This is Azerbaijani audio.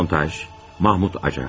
Montaj: Mahmud Acar.